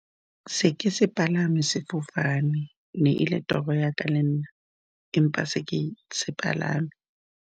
Se ke se palame, sefofane e ne e le toro ya ka lenna, empa ga se ke se palame.